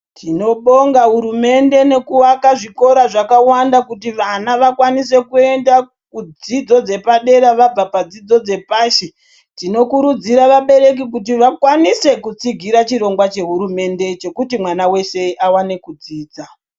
Tinobonga hurumende nekuvaka zvikora zvakawanda kuti vana vakwanise kuenda kudzidzo dzepadera vabva padzidzo dzepashi. Tinokurudzira vabereki kuti vakwanise kutsigira chirongwa chehurumende chekuti mwana weshe awane kudzidza.